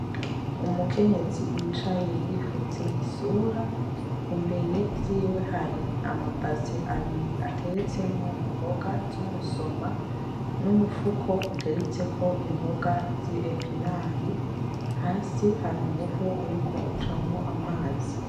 Umukenyezi yicaye yipfutse isura, imbere yiwe hari ama base abiri ateretsemwo imboga z'umusoma n'umufuko uteretseko imboga zi epinari hasi hari umuvo uriko ucamwo amazi.